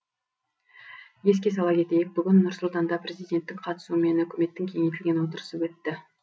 еске сала кетейік бүгін нұр сұлтанда президенттің қатысуымен үкіметтің кеңейтілген отырысы өтті